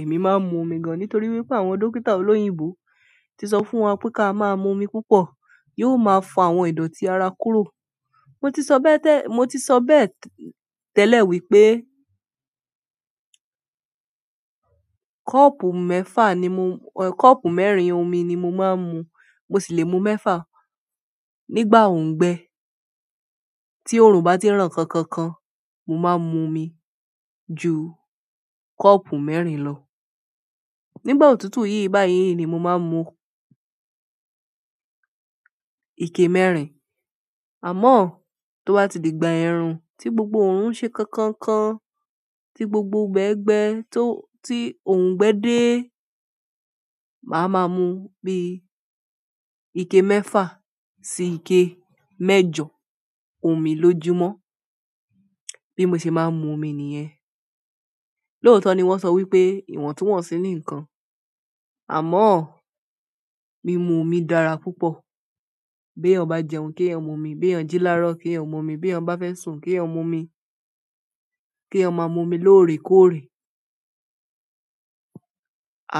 Èmi máa ń mu omi gan, nítorí wípé àwọn dókítà olóyìnbo ti sọ fún wa pé ká máa mu omi púpọ̀, yóò máa fo àwọn ìdọ̀tí ara kúrò. Mo ti sọ bẹ́ẹ̀ tẹ-- mo ti sọ bẹ́ẹ̀ tẹ́lẹ̀ wípé, kọ́ọ̀pù mẹ́fà ni mo-- kọ́ọ̀pù mẹ́rin omi ni mo máa ń mu. Mo sì lè mu mẹ́fà nígbà òngbẹ. Tí oòrùn bá ti ràn kankan kan, mo máa mu omi ju kọ́ọ̀pù mẹ́rin lọ. Nígbà òtútù yí báyìí ni mo máa ń mu ike mẹ́rin. Àmọ́, to bá ti di ìgbà ẹ̀rùn tí gbogbo òórùn ṣe kankan kan, tí gbogbo ibẹ́ gbẹ́ tó-- tí òngbẹ́ dé, màá máa mu bí ike mẹ́fà sí ike mẹ́jọ omi lójúmọ́. Bí mo ṣe máa ń mu omi nìyẹn. Lóòótọ́ ni wọ́n sọ wípé ìwọ̀ntúnwọ̀nsí ni ìkan, àmọ́, mí mu omi dára púpọ̀. Bí èèyàn bá jẹun, kí èèyàn mu omi. Bí èèyàn jí láró, kí èèyàn mu omi. Bí èèyàn bá fẹ́ sùn, kí èèyàn mu omi. Kí èèyàn máa mu omi lóore kóòre.